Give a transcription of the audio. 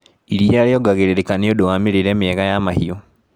Iria riongagĩrĩrika nĩũndũ wa mĩrĩire miega ya mahiũ.